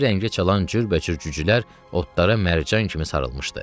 Hər rəngə çalan cürbəcür cücülər otlara mərcan kimi sarılmışdı.